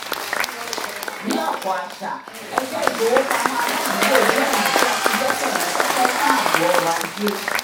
ní ọ̀pọ̀ àṣà ẹgbẹ́ ìfowópamọ́ aládùúgbò jẹ́ ọ̀nà tí a ti gbẹ̀kẹ̀lé pẹ́pẹ́ fún ààbò ọrọ̀ ajé